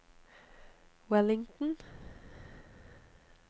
Wellington